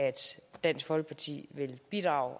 dansk folkeparti vil bidrage